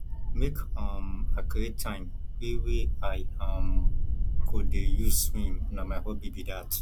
make um i create time wey wey i um go dey use swim na my hobby be dat